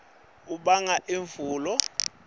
umoya loshisako ubanga imvula